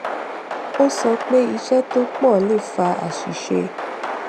ó sọ pé iṣé tó pọ le fa aṣìṣe